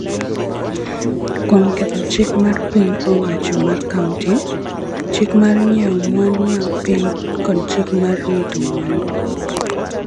kuom ketho chik mar piny owacho mar kaonti, chik mar nyieo mwandu mag piny kod chik mar wito mwandu